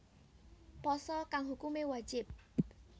Pasa kang hukumé wajib